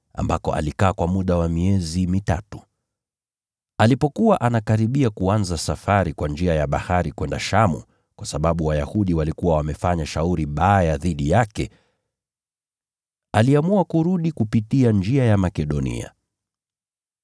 ambako alikaa kwa muda wa miezi mitatu. Alipokuwa anakaribia kuanza safari kwa njia ya bahari kwenda Shamu, kwa sababu Wayahudi walikuwa wamefanya shauri baya dhidi yake, aliamua kurudi kupitia njia ya Makedonia.